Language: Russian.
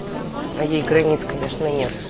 ей границ конечно нет